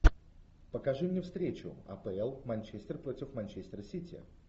покажи мне встречу апл манчестер против манчестер сити